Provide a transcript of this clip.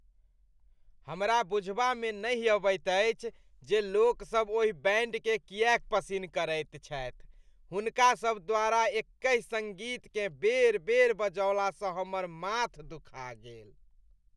हमरा बुझबामे नहि अबैत अछि जे लोकसभ ओहि बैंडकेँ किएक पसिन्न करैत छथि। हुनकासभ द्वारा एकहि सङ्गीतकेँ बेर बेर बजौलासँ हमर माथ दुखा गेल।